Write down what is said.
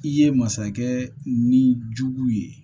I ye masakɛ ni jugu ye